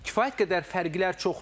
Kifayət qədər fərqlər çoxdur.